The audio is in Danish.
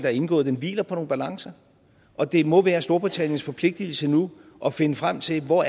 er indgået hviler på nogle balancer og det må være storbritanniens forpligtelse nu at finde frem til hvor